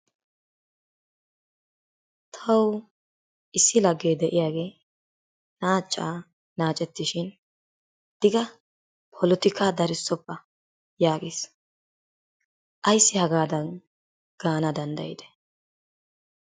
Tawu issi laggee de'iyaagee naacaa naacettishin digga polotikaa darissoppa yaages. Ayissi hagaadan gaana danddayidee?